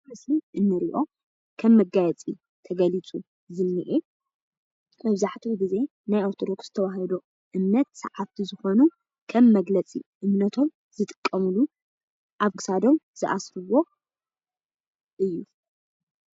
እዚ እንሪኦ ከም መጋየፂ ተገሊፁ ዝኒአ መብዛሕቲኡ ግዘ ናይ ኦርተዶክስ ተዋህዶ እምነት ሰዓብቲ ዝኮኑ ከም መግለፂ እምነቶም ዝጥቀምሉ ኣብ ክሳዶም ዝኣስርዎ እዩ።